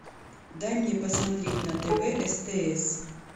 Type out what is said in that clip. дай мне посмотреть на тв стс